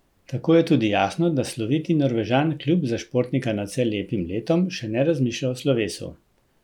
Tako je tudi jasno, da sloviti Norvežan kljub za športnika nadvse lepim letom še ne razmišlja o slovesu.